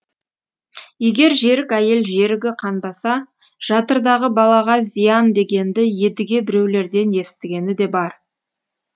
егер жерік әйел жерігі қанбаса жатырдағы балаға зиян дегенді едіге біреулерден естігені де бар